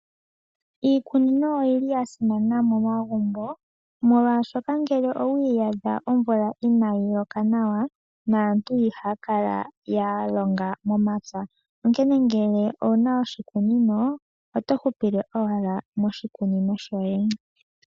Iikunino oyili ya simana momagumbo. Molwaashoka ngele owi iyadha omvula inaayi loka nawa naantu ihaya kala ya longa momapya. Onkene ngele owuna oshikunino oto hupile owala moshikunino shoye.